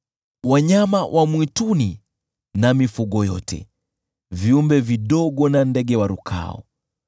wanyama wa mwituni na mifugo yote, viumbe vidogo na ndege warukao,